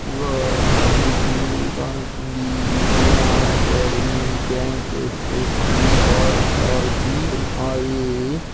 ఒకా కాలేజు కానొస్తుందీ అర్యానా అకాడమి ఈ బ్యాంక్ యస్_యస్-ఈ ఆర్_ఆర్_బి_ఎన్ _ఆర్_ ఇ.